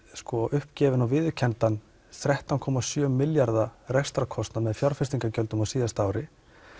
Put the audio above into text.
uppgefinn og viðurkenndan þrettán komma sjö milljarða rekstrarkostnað með fjárfestingargjöldum á síðasta ári